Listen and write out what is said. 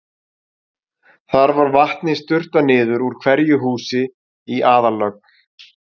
Þar var vatni sturtað niður úr hverju húsi í aðallögn.